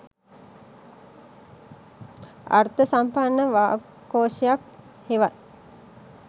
අර්ථසම්පන්න වාක්කෝෂයක් හෙවත්